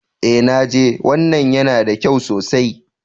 Eh naji. Wannan yana da kyau sosai.